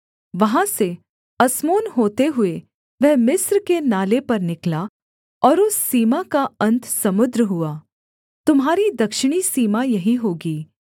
वहाँ से अस्मोन होते हुए वह मिस्र के नाले पर निकला और उस सीमा का अन्त समुद्र हुआ तुम्हारी दक्षिणी सीमा यही होगी